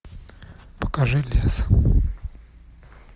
покажи лес